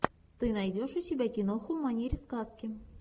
ты найдешь у себя киноху в манере сказки